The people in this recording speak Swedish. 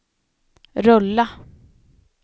rulla